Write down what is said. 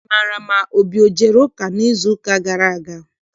Ị maara ma Obi ejere ụka n'izuụka gara aga?